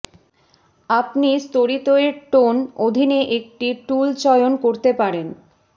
আপনি স্তরিত এর টোন অধীনে একটি টুল চয়ন করতে পারেন